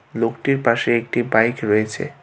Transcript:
লোকটির পাশে একটি বাইক রয়েছে।